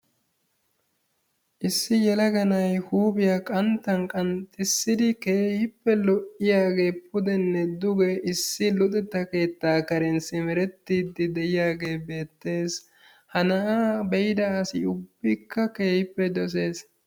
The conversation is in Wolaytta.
Issi yelaga na'ay huuphiyaa qanttan qanxxissidi keehippe lo''iyaagee pudenne duge issi luxettaa keettaa karen simerettiiddi de'iyaagee beettes, ha na'aa be'ida asi ubbikka keehippe dosees.